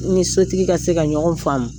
N ni sotigi ka se ka ɲɔgɔn faamu